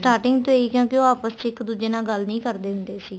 starting ਤੋਂ ਹੀ ਕਿਉਂਕਿ ਉਹ ਆਪਸ ਚ ਇੱਕ ਦੂਜੇ ਨਾਲ ਗੱਲ ਨਹੀਂ ਕਰਦੇ ਹੁੰਦੇ ਸੀ